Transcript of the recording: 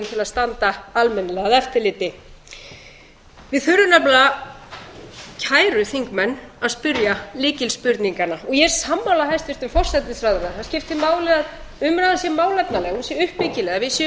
til að standa almennilega að eftirliti við þurfum nefnilega kæru þingmenn að spyrja lykil spurninganna og ég er sammála hæstvirtum forsætisráðherra það skiptir máli að umræðan sé málefnaleg hún sé uppbyggileg að við séum ekki að hreyta hér